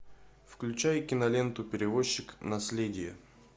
включай киноленту перевозчик наследие